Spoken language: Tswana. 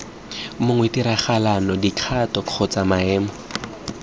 mongwe tiragalo dikgato kgotsa maemo